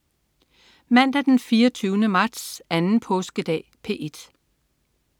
Mandag den 24. marts. Anden påskedag - P1: